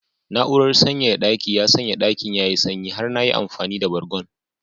Na'urar sanyaya daki ya sanya dakin yayi sanyi har na yi amfani da bargon